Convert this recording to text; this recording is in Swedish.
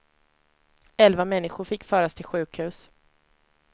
Elva människor fick föras till sjukhus.